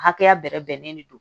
Hakɛya bɛrɛ bɛnnen de don